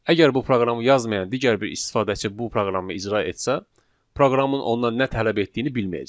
Əgər bu proqramı yazmayan digər bir istifadəçi bu proqramı icra etsə, proqramın ondan nə tələb etdiyini bilməyəcək.